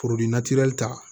Foro natira ta